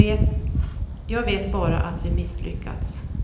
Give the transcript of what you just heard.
Jag vet bara att vi misslyckats.